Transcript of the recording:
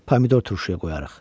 Pomidor turşuya qoyarıq.